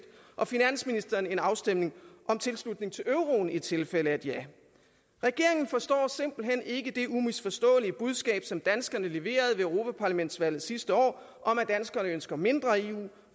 og finansministeren en afstemning om tilslutning til euroen i tilfælde af et ja regeringen forstår simpelt hen ikke det umisforståelige budskab som danskerne leverede ved europaparlamentsvalget sidste år om at danskerne ønsker mindre eu